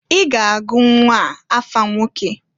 I ga-agụ nnwaa afa nwoke!